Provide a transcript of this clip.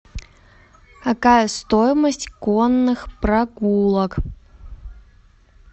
какая стоимость конных прогулок